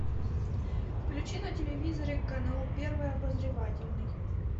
включи на телевизоре канал первый обозревательный